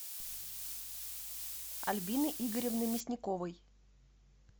альбины игоревны мясниковой